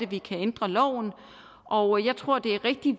vi kan ændre loven og jeg tror det er rigtig